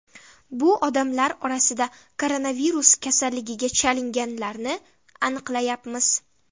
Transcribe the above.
Bu odamlar orasida koronavirus kasalligiga chalinganlarni aniqlayapmiz.